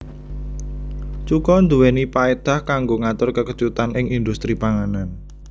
Cuka nduwèni paédah kanggo ngatur kekecutan ing indhustri panganan